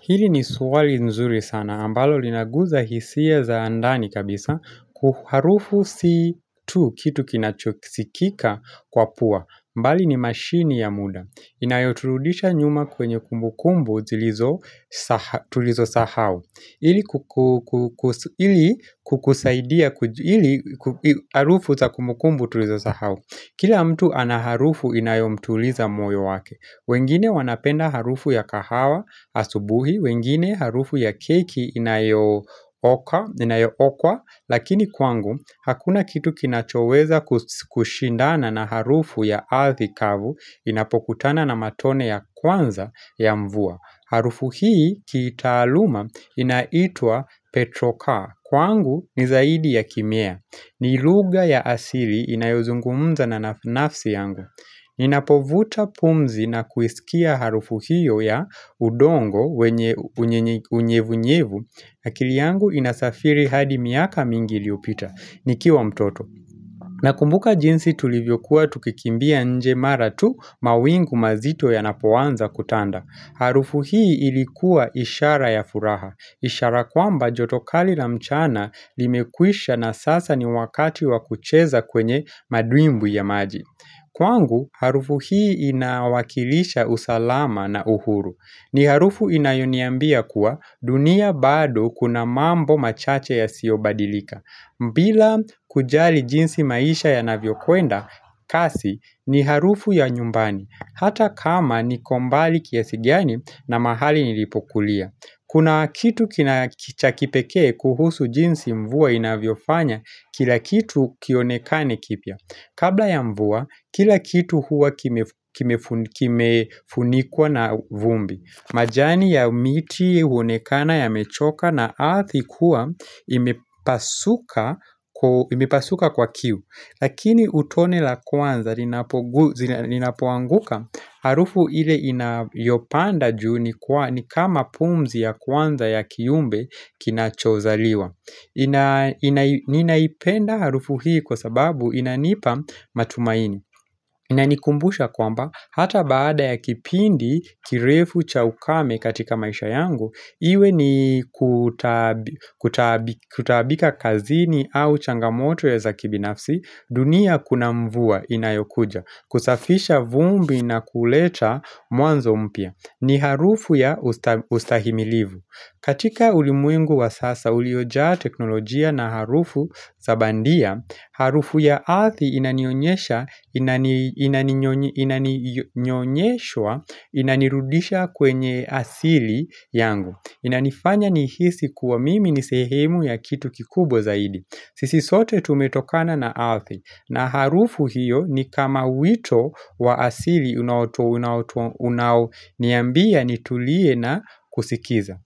Hili ni swali nzuri sana. Ambalo linaguza hisia za ndani kabisa kuharufu situ kitu kinachokisikika kwa pua. Mbali ni mashini ya muda. Inayoturudisha nyuma kwenye kumbukumbu tulizo sahau. Hili kukusaidia kujuharufu za kumbukumbu tulizo sahau. Kila mtu anaharufu inayom tuliza moyo wake. Wengine wanapenda harufu ya kahawa asubuhi, wengine harufu ya keki inayo okwa, lakini kwangu hakuna kitu kinachoweza kushindana na harufu ya althikavu inapokutana na matone ya kwanza ya mvua. Harufu hii kiitaluma inaitwa Petrocar kwangu nizaidi ya kimea Nilugha ya asili inayozungumza na nafsi yangu Ninapovuta pumzi na kuisikia harufu hiyo ya udongo unyevunyevu akili yangu inasafiri hadi miaka mingi iliopita, nikiwa mtoto na kumbuka jinsi tulivyokuwa tukikimbia nje maratu mawingu mazito ya napoanza kutanda Harufu hii ilikuwa ishara ya furaha. Ishara kwamba jotokali la mchana limekwisha na sasa ni wakati wakucheza kwenye madwimbwi ya maji. Kwangu, harufu hii inawakilisha usalama na uhuru. Ni harufu inayoniambia kuwa dunia bado kuna mambo machache ya siobadilika. Mbila kujali jinsi maisha ya navyokuenda kasi ni harufu ya nyumbani Hata kama ni kombali kiasigi gani na mahali nilipokulia Kuna kitu kina kichakipekee kuhusu jinsi mvua inavyo fanya kila kitu kionekane kipia Kabla ya mvua kila kitu huwa kime kimefunikwa na vumbi majani ya miti huonekana ya mechoka na athikuwa imepasuka kwa kiu Lakini utone la kwanza ninapoanguka Harufu ile inayopanda juu ni kama pumzi ya kwanza ya kiumbe kinachozaliwa Ninaipenda harufu hii kwa sababu inanipa matumaini iNa nikumbusha kwamba, hata baada ya kipindi kirefu cha ukame katika maisha yangu, iwe ni kutaabika kazini au changamoto ya zakibinafsi, dunia kuna mvua inayokuja, kusafisha vumbi na kuleta mwanzo mpia. Ni harufu ya ustahimilivu. Katika ulimwengu wa sasa uliojaa teknolojia na harufu zabandia, harufu ya althi inanionyesha, inanirudisha kwenye asili yangu. Inanifanya nihisi kuwa mimi nisehemu ya kitu kikubwa zaidi. Sisi sote tumetokana na althi na harufu hiyo ni kama wito wa asili unawoto unao niambia nitulie na kusikiza.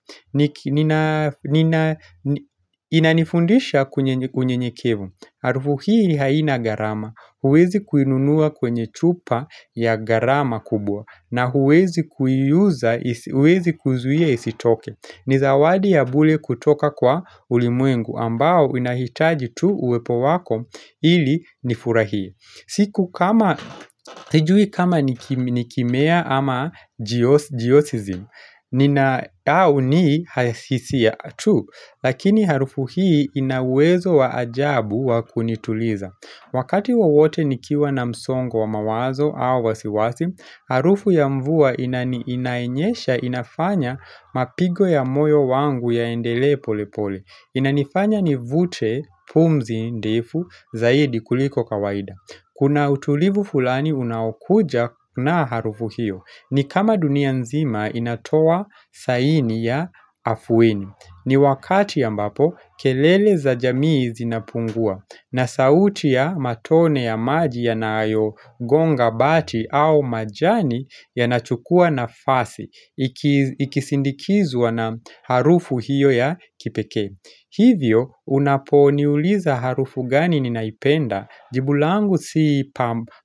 Inanifundisha kunye unyenyekevu Arufu hii haina gharama huwezi kuinunua kwenye chupa ya gharama kubwa na huwezi kuzuia isitoke Nizawadi ya bule kutoka kwa ulimwengu ambao inahitaji tu uwepo wako ili nifurahie siku kama sijui kama nikimea ama jiosizimu ni na au ni hasisia tu Lakini harufu hii inauwezo wa ajabu wa kunituliza Wakati wawote nikiwa na msongo wa mawazo au wasiwasi Harufu ya mvua ina inayesha inafanya mapigo ya moyo wangu ya endele pole pole Inanifanya ni vute, pumzi, ndefu, zaidi kuliko kawaida Kuna utulivu fulani unakuja na harufu hiyo ni kama dunia nzima inatoa saini ya afueni ni wakati a mbapo kelele za jamii zinapungua na sauti ya matone ya maji ya nayo gonga bati au majani ya nachukua na fasi Ikisindikizwa na harufu hiyo ya kipekee Hivyo unapo niuliza harufu gani ninaipenda Jibulangu sii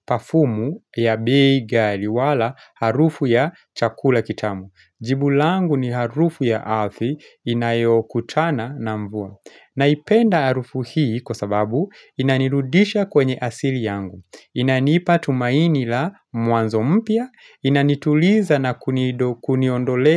pafumu ya bei gh ali wala harufu ya chakula kitamu. Jibulangu ni harufu ya arhi inayo kutana na mvua. Naipenda harufu hii kwa sababu inanirudisha kwenye asili yangu. Inanipa tumaini la mwanzo mpia, inanituliza na kunido kuniondolea.